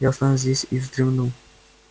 я останусь здесь и вздремну